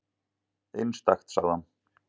Einstakt, sagði hann.